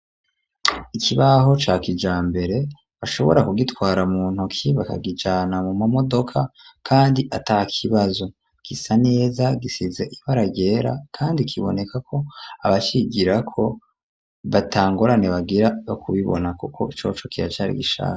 Ikibaho ca kijambere, bashobora kugitwara mu ntuki, bakakijana mu mamodoka kandi ata kibazo; gisa neza gisize ibara ryera kandi kiboneka ko abacigirako, ata ngorane bagira zo kubibona, kuko coco kiracari gishasha.